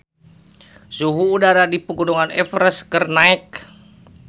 Suhu udara di Pegunungan Everest keur naek